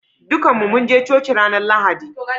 Dukan mu mun je coci ranan Lahadi.